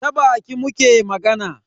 Ta baki muke magana.